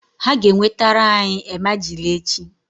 Ha ga-enwetara anyị emajili echi -